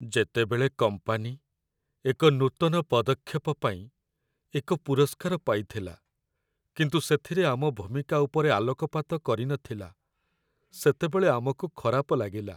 ଯେତେବେଳେ କମ୍ପାନୀ ଏକ ନୂତନ ପଦକ୍ଷେପ ପାଇଁ ଏକ ପୁରସ୍କାର ପାଇଥିଲା କିନ୍ତୁ ସେଥିରେ ଆମ ଭୂମିକା ଉପରେ ଆଲୋକପାତ କରିନଥିଲା, ସେତେବେଳେ ଆମକୁ ଖରାପ ଲାଗିଲା।